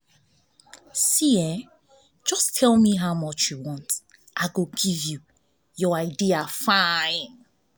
just tell me how much you want i go give you your idea fine